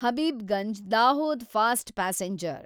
Habibganj Dahod fast passenger